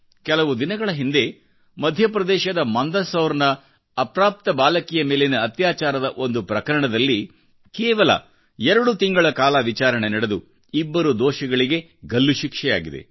ಕೆಲವು ದಿನಗಳ ಹಿಂದೆ ಮಧ್ಯಪ್ರದೇಶದಮಂದಸೌರ್ನ ಅಪ್ರಾಪ್ತ ಬಾಲಕಿಯ ಮೇಲಿನ ಅತ್ಯಾಚಾರದಒಂದು ಪ್ರಕರಣದಲ್ಲಿ ಕೇವಲ ಎರಡು ತಿಂಗಳ ಕಾಲ ವಿಚಾರಣೆ ನಡೆದು ಇಬ್ಬರು ದೋಷಿಗಳಿಗೆಗಲ್ಲು ಶಿಕ್ಷೆಯಾಗಿದೆ